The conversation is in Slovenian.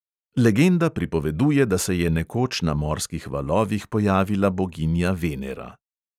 Legenda pripoveduje, da se je nekoč na morskih valovih pojavila boginja venera.